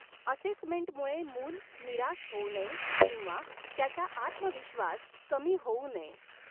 असेसमेंटमुळे मूल निराश हॊऊ नये किंवा त्याचा आत्मविश्वास कमी होऊ नये.